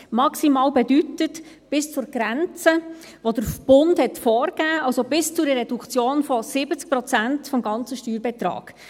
Maximal bedeutet bis zur Grenze, die der Bund vorgegeben hat, also bis zu einer Reduktion von 70 Prozent des ganzen Steuerbetrages.